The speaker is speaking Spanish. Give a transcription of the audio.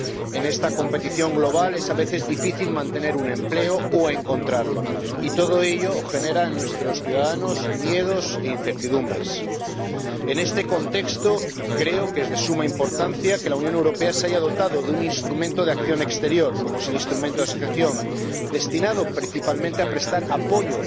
En esta competición global es a veces difícil mantener un empleo o encontrarlo. Y todo ello genera en nuestros ciudadanos miedos e incertidumbres. En este contexto, creo que es de suma importancia que la Unión Europea se haya dotado de un instrumento de acción exterior —como es el Instrumento de Asociación—, destinado, principalmente, a prestar apoyo